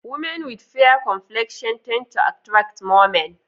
Women with fair complexion tend to attract more men